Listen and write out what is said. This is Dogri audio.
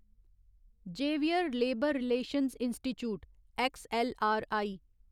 Xavier labour relations institute XLRI